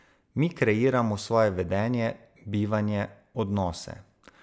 Mi kreiramo svoje vedenje, bivanje, odnose.